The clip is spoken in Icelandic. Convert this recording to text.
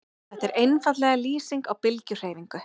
Þetta er einfaldlega lýsing á bylgjuhreyfingu.